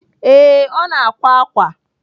Ee, ọ na-akwa ákwà.